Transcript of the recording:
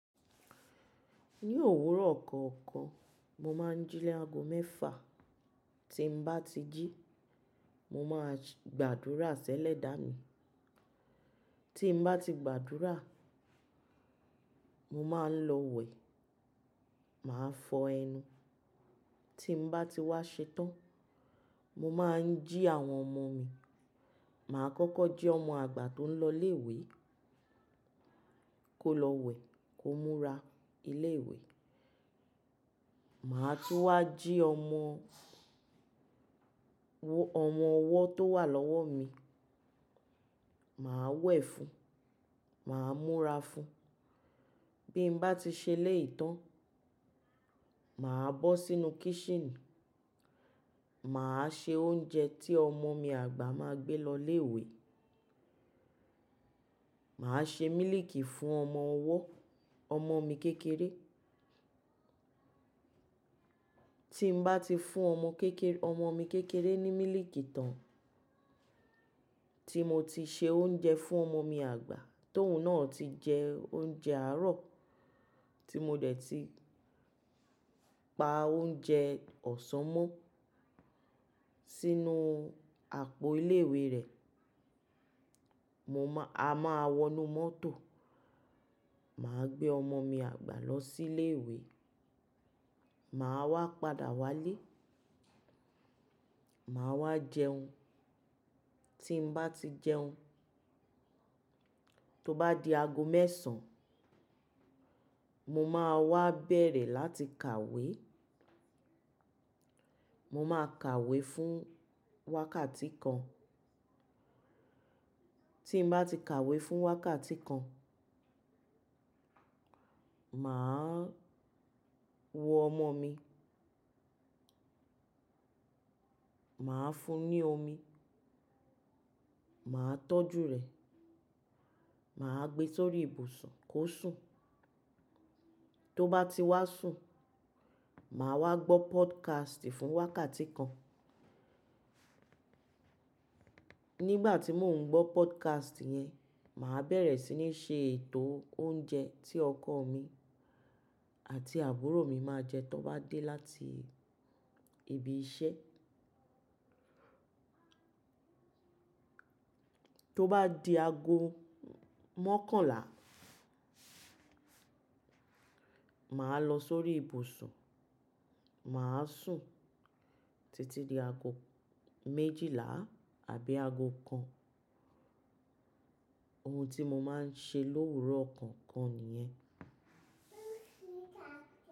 Ní òwúrọ̀ kọ̀ọ̀kan, mo máa ń jí ni aago mẹ́fa. Tí n bá ti jí, mo máa gbàdúrà sẹ́lẹ̀ dá mi. Tí n bá ti gbàdúrà, mo máa ń lọ wẹ̀, màá fọ ẹnu. Tí n bá ti wá ṣe tán, mo máa ń jí àwọn ọmọ mi. Màá kọ́kọ́ jí ọmọ àgbà tó ń lọ ilé-ìwé kó lọ wẹ̀, kó múra ilé-ìwé. Màá tú wá jí ọmọ, ọmọ ọwọ́ tó wà lọ́wọ́ mi. Màá wẹ̀ fún un, màá múra fún un. Bí n bá ti ṣẹlẹ̀ yìí tán, màá bọ́ sínú kíṣínì, màá ṣe oúnjẹ tí ọmọ mi àgbà máa gbé lọ ilé-ìwé. Màá ṣe mílìkì fún ọmọ ọwọ́, ọmọ mi kékeré. Tí n bá ti fún ọmọ kékeré, ọmọ mi kékeré ní mílìkì tán, tí mo ti ṣe oúnjẹ fún ọmọ mi àgbà, tóun náà ti jẹ oúnjẹ àárọ̀, tí mo dẹ̀ ti pa oúnjẹ ọ̀sán mọ́ sínú àpò ilé-ìwé rẹ̀. Mo máa, a máa wọnú mọ́tò, màá gbé ọmọ mi àgbà lọ sí ilé-ìwé, màá wá padà wá lé, màá wá jẹun. Tí n bá ti jẹun, tó bá di aago mẹ́sàn-án, mo máa wá bẹ̀rẹ̀ láti kàwé. Mo máa kàwé fún wákàtí kan. Tí n bá ti kàwé fún wákàtí kan, màá wo ọmọ mi, màá fún un ní omi, màá tọ́jú rẹ̀, màá gbé sórí ìbùsùn kó sùn. Tó bá ti wá sùn, màá wá gbọ́ podcast fún wákàtí kan. Nígbà tí mò ń gbọ́ podcast yẹn, màá bẹ̀rẹ̀ sí ní ṣe ètò oúnjẹ tí ọkọ mi àti àbúrò mi máa jẹ tó bá dé láti ibi iṣẹ́. Tó bá di aago mọ́kànlá, màá lọ sórí ìbùsùn, màá sùn títí di aago méjìlá àbí aago kan. Ohun tí mo máa ń ṣe lówúrọ̀ kọ̀ọ̀kan nìyẹn.